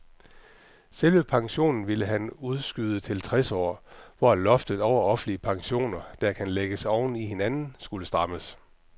Selve pensionen ville han udskyde til tres år, hvor loftet over offentlige pensioner, der kan lægges oven i hinanden, skulle strammes.